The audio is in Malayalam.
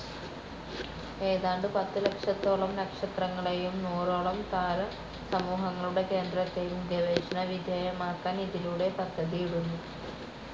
ഏതാണ്ട് പത്തുലക്ഷത്തോളം നക്ഷത്രങ്ങളെയും നൂറോളം താരസമൂഹങ്ങളുടെ കേന്ദ്രത്തെയും ഗവേഷണവിധേയമാക്കാൻ ഇതിലൂടെ പദ്ധതിയിടുന്നു.